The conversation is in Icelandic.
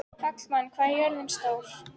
Hallmann, hvað er jörðin stór?